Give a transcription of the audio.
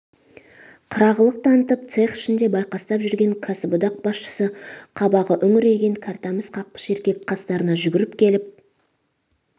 қырағылық танытып цех ішінде байқастап жүрген кәсіподақ басшысы қабағы үңірейген кәртамыс қақпыш еркек қастарына жүгіріп келіп